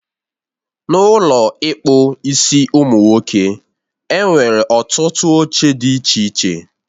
N'Ụlọ ịkpụ isiụmụnwoke, enwere ọtụtụ oche dị iche iche